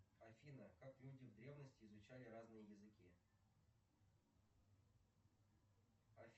афина как люди в древности изучали разные языки